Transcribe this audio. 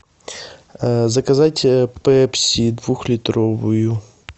заказать пепси двухлитровую